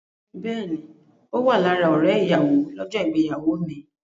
Bẹ́ẹ̀ni, Ó wà lára ọ̀rẹ́ ìyàwó lọ́jọ́ ìgbéyàwó mi.